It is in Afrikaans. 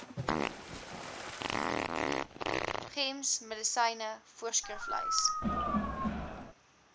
gems medisyne voorskriflys